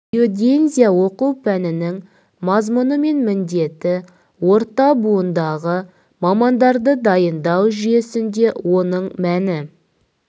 геодезия оқу пәнінің мазмұны мен міндеті орта буындағы мамандарды дайындау жүйесінде оның мәні